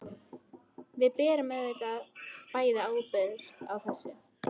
Við berum auðvitað bæði ábyrgð á þessu.